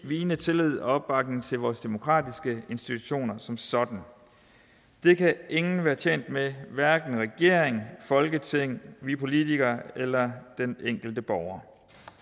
vigende tillid og opbakning til vores demokratiske institutioner som sådan det kan ingen være tjent med hverken regering folketing vi politikere eller den enkelte borger